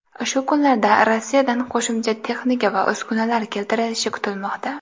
Shu kunlarda Rossiyadan qo‘shimcha texnika va uskunalar keltirilishi kutilmoqda.